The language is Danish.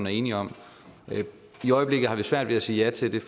er enige om i øjeblikket har vi svært ved at sige ja til